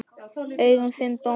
augum fimm dómara.